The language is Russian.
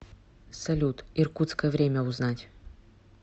салют иркутское время узнать